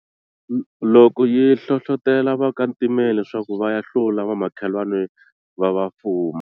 Loko yi hlohletela vakantimeni leswaku va ya hlula vamakhelwani va va fuma.